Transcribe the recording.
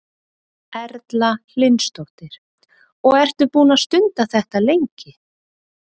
Erla Hlynsdóttir: Og ertu búinn að stunda þetta lengi?